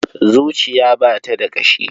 Zuciya ba ta da ƙashi.